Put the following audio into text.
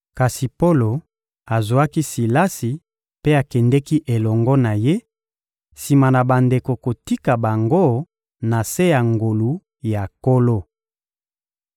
Kasi Polo azwaki Silasi mpe akendeki elongo na ye, sima na bandeko kotika bango na se ya ngolu ya Nkolo.